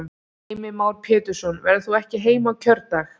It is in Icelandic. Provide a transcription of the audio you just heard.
Heimir Már Pétursson: Verður þú ekki heima á kjördag?